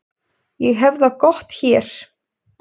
Ég hef það gott hér.